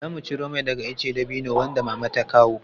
Zamu ciro mai daga ice dabino wanda Mama ta kawo.